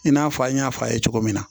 I n'a fɔ an y'a fɔ a ye cogo min na